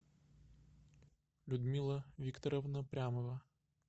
людмила викторовна прямова